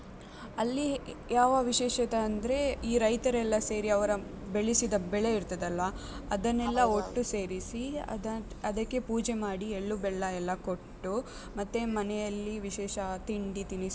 ಅಲ್ಲಿ ಯಾವ ವಿಶೇಷತೆ ಅಂದ್ರೆ, ಈ ರೈತರೆಲ್ಲ ಸೇರಿ ಅವರ ಬೆಳಸಿದ ಬೆಳೆ ಇರ್ತದಲ್ವಾ, ಅದನ್ನೆಲ್ಲಾ ಒಟ್ಟು ಸೇರಿಸಿ, ಅದಕ್ಕೆ ಪೂಜೆ ಮಾಡಿ ಎಳ್ಳು - ಬೆಲ್ಲ ಎಲ್ಲ ಕೊಟ್ಟು, ಮತ್ತೆ ಮನೆಯಲ್ಲಿ ವಿಶೇಷ ತಿಂಡಿ - ತಿನಿಸು